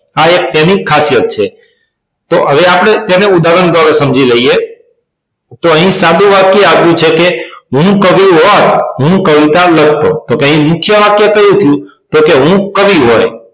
આ એક તેની ખાસિયત છે તો હવે તેને આપડે ઉદાહરણ દ્વારા સમજી લઈએ તો અહી સાદું વાક્ય આપ્યું છે કે હું કવિ હોત હું કવિતા લખતો તો અહી મુખ્ય વાક્ય કયું થયું કે હું કવિ હોય